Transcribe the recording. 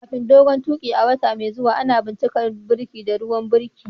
Kafin dogon tuƙi a wata mai zuwa, ana shirin bincikar birki da ruwan birki.